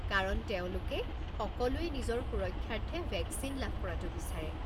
কাৰণ তেওঁলোকে সকলোৱে নিজৰ সুৰক্ষাৰ্থে ভেকচিন লাভ কৰাটো বিচাৰে।